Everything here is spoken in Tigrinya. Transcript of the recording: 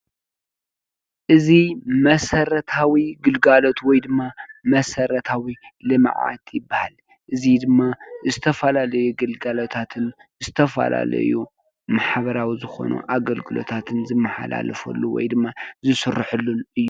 እዙይ መሰረታዊ ግልጋሎት ወይ ድማ መሰረታዊ ልምዓት ይብሃል። እዙይ ድማ ዝተፈላለዩ ግልጋሎታት ዝተፈላለዩ ማሕበራዊ ዝኮኑ ኣገልግሎታትን ዝማሓላለፈሉን ዝስረሐሉን እዩ።